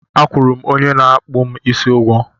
A kwụrụ m onye na-akpụ m isi ụgwọ